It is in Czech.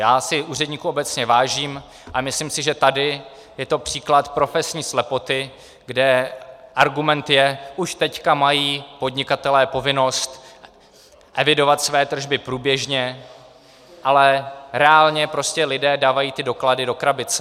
Já si úředníků obecně vážím, ale myslím si, že tady je to případ profesní slepoty, kde argument je, už teď mají podnikatelé povinnost evidovat své tržby průběžně, ale reálně prostě lidé dávají ty doklady do krabice.